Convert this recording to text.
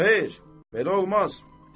Xeyr, belə olmaz.